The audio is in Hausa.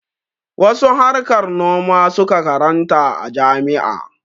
Wasu harkar noma su ka karanta a jami'a.